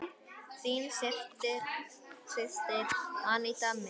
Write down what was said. Þín systir, Aníta Mist.